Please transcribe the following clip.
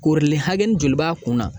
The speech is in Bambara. Korilen hakɛni joli b'a kunna ?